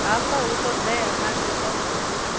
hafha hu ṱoḓea maḓi o